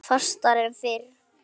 Fastar en fyrr.